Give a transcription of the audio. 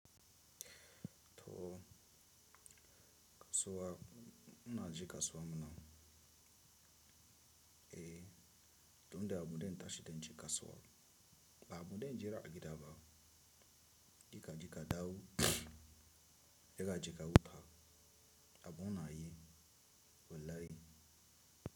Toh kasuwa, muna je kasuwa mana, eh, tunda abun da in tashi in ji kasuwa, ba abun da in jira a gida ba. Jeka jika dawo, jeka jika huta, abu na yi, wallahi.